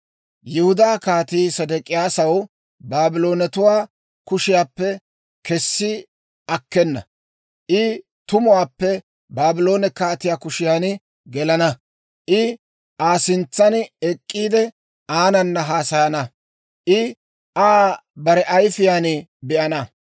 Yihudaa Kaatii Sedek'iyaasaw Baabloonatuwaa kushiyaappe kessi akkena; I tumuwaappe Baabloone kaatiyaa kushiyan gelana. I Aa sintsan ek'k'iide, aanana haasayana; I Aa bare ayifiyaan be'ana.